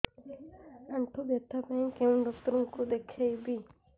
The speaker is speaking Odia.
ଆଣ୍ଠୁ ବ୍ୟଥା ପାଇଁ କୋଉ ଡକ୍ଟର ଙ୍କୁ ଦେଖେଇବି